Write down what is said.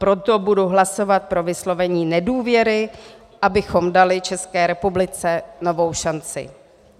Proto budu hlasovat pro vyslovení nedůvěry, abychom dali České republice novou šanci.